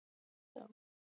Hans tími er liðinn.